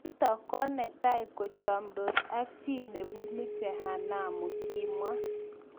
Nitok ko ki netai kochamdoos ak chii nepinu jehanamu kimwa